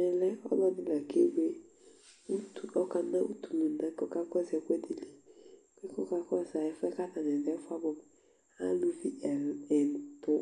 Ɛmɛlɛ ɔlɔdi ɔkewele ʋtu, ɔkana ʋtu lʋna kʋ ɔkakɔsu ɛkʋɛdili Ɛfʋɛ bʋakʋ atani du yɛ ɛfʋɛ abʋɛ amu Alʋvi ɛtu,